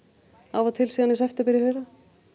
af og til síðan í september í fyrra